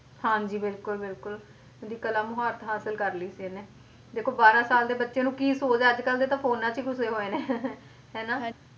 ਹਾਂਜੀ ਬਿਲਕੁਲ ਬਿਲਕੁਲ ਦੀ ਕਲਾ ਮੁਹਾਰਤ ਹਾਸਿਲ ਕਰ ਲਈ ਸੀ ਇਹਨੇ, ਦੇਖੋ ਬਾਰਾਂ ਸਾਲ ਦੇ ਬੱਚੇ ਨੂੰ ਕੀ ਸੋਝ ਆ, ਅੱਜ ਕੱਲ੍ਹ ਦੇ ਤਾਂ ਫ਼ੋਨਾਂ 'ਚ ਹੀ ਘੁਸੇ ਹੋਏ ਨੇ ਹਨਾ,